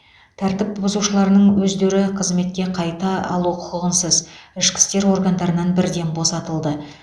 тәртіп бұзушылардың өздері қызметке қайта алу құқығынсыз ішкі істер органдарынан бірден босатылды